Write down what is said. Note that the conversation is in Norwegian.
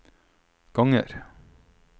ganger